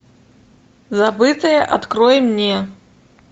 забытое открой мне